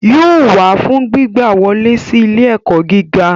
Yóò wá fún gbígba wọlé si ilé-ẹkọ gíga.